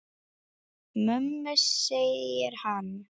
Mömmu, segir hann.